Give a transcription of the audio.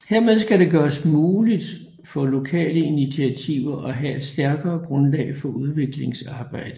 Hermed skal det gøres muligt for lokale initiativer at have et stærkere grundlag for udviklingsarbejde